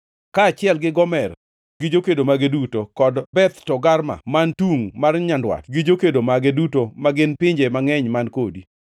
kaachiel gi Gomer gi jokedo mage duto, kod Beth Togarma man tungʼ mar nyandwat gi jokedo mage duto magin pinje mangʼeny man kodi.